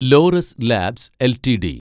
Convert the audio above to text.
Laureus Labs LTD